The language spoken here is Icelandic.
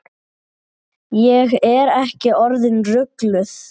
Ég er ekki orðin rugluð.